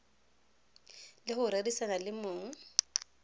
le go rerisana le mong